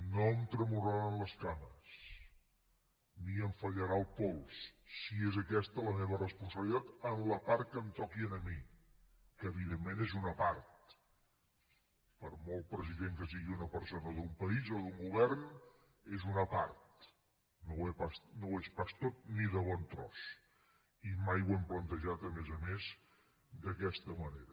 no em tremolaran les cames ni em fallarà el pols si és aquesta la meva responsabilitat en la part que em toqui a mi que evidentment és una part per molt president que sigui una persona d’un país o d’un govern és una part no ho és pas tot ni de bon tros i mai ho hem plantejat a més a més d’aquesta manera